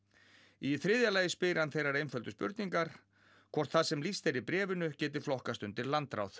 í þriðja lagi spyr hann þeirrar einföldu spurningar hvort það sem lýst er í bréfinu geti flokkast undir landráð